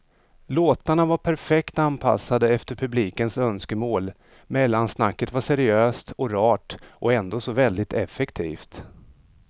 Låtarna var perfekt anpassade efter publikens önskemål, mellansnacket var seriöst och rart och ändå så väldigt effektivt.